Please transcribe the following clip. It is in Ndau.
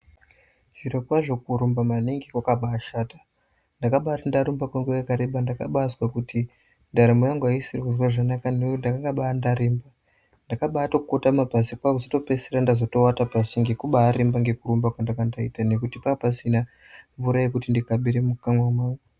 Zvirokwazvo kurumba maningi kwakaba ashata, ndakaba ati ndarumba kwenguwa yakareba ndakabaazwa kuti ndaramo yangu aisisiri kuzwa zvakanaka nekuti ndakaba ndaremba, ndakaba akotama pasi, kwaakuzoto peisira ndawata pasi nekuba aremba nekurumba kwandanga ndaita nekuti panga pasina mvura yekuti ndikabire mukanwa mangu.